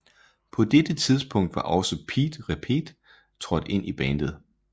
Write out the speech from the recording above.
På dette tidspunkt var også Pete Repete trådt ind i bandet